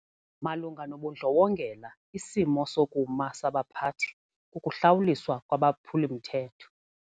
Malunga nobundlobongela isimo sokuma sabaphathi kukuhlawuliswa kwabaphuli-mthetho.